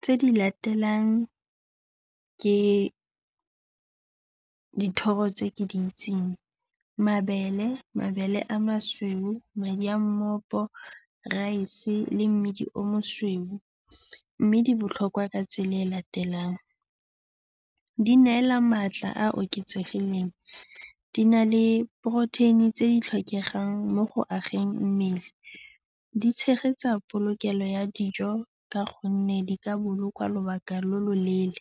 Tse di latelang ke dithoro tse ke di itseng, mabele, mabele a mosweu, madi a mmopo, raese le mmidi o mosweu. Mme di botlhokwa ka tsela e e latelang, di neela maatla a a oketsegileng, di na le poroteini tse di tlhokegang mo go ageng mmele, di tshegetsa polokelo ya dijo ka gonne di ka bolokwa lobaka lo loleele